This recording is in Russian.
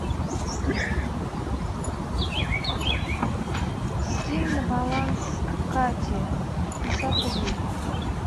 скинь на баланс кате пятьдесят рублей